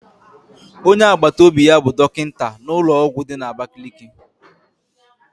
Onye agbataobi ya bụ dọkịta n'ụlọọgwụ dị n'abakaliki.